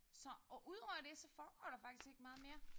Så og udover det så foregår der faktisk ikke meget mere